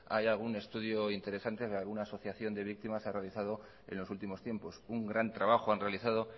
hay algún estudio interesante que alguna asociación de víctimas ha realizado en los últimos tiempos un gran trabajo han realizado